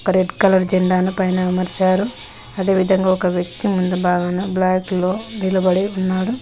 ఒక red colour జెండాను పైన అమర్చారు అదే విధంగా ఒక వ్యక్తి ముందు భాగాన బ్లాక్ లో నిలబడి ఉన్నాడు.